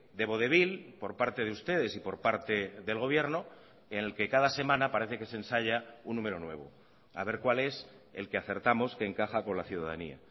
de vodevil por parte de ustedes y por parte del gobierno en el que cada semana parece que se ensaya un número nuevo a ver cuál es el que acertamos que encaja con la ciudadanía